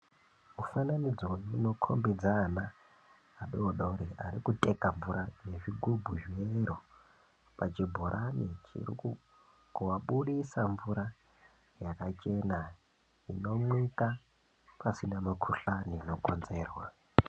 Mufananidzo unokhombidza ana adodori arikuteka mvura ngezvigubhu zvine iro pachibhorani chiri kubudisa mvura yakachena inomwika pasina mukuhlani inokonzerwa.